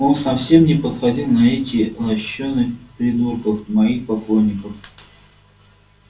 он совсем не походил на этих лощёных придурков моих поклонников